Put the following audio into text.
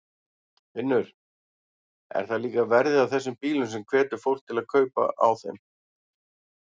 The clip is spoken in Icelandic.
Finnur: Er það líka verðið á þessum bílum sem hvetur fólk til kaupa á þeim?